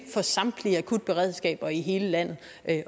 for samtlige akutberedskaber i hele landet